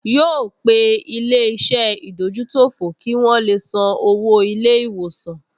Yóò pe ilé-iṣẹ́ ìdójútòfò kí wọn le san owó ilé-ìwòsàn